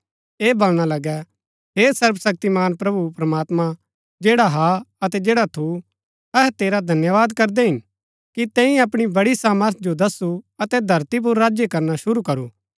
ऐह बलणा लगै हे सर्वशक्तिमान प्रभु प्रमात्मां जैडा हा अतै जैडा थू अहै तेरा धन्यवाद करदै हिन कि तैंई अपणी बड़ी सामर्थ जो दसु अतै धरती पुर राज्य करना शुरू करू